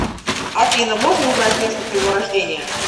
афина можно узнать место твоего рождения